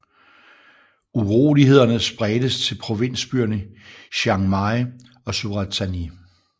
Urolighederne spredtes til provinsbyerne Chiang Mai og Surat Thani